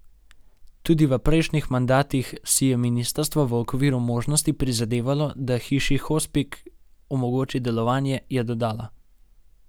Tudi v prejšnjih mandatih si je ministrstvo v okviru možnosti prizadevalo, da Hiši hospic omogoči delovanje, je dodala.